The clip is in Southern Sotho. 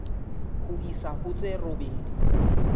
ho isa ho tse robedi